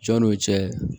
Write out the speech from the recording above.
Jɔnni cɛ